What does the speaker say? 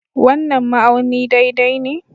wannan ma'auni daidai ne.